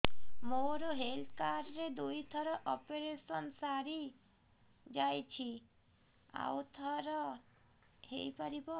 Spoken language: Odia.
ମୋର ହେଲ୍ଥ କାର୍ଡ ରେ ଦୁଇ ଥର ଅପେରସନ ସାରି ଯାଇଛି ଆଉ ଥର ହେଇପାରିବ